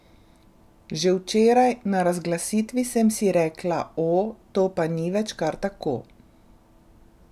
Že včeraj na razglasitvi sem si rekla, o, to pa ni več kar tako.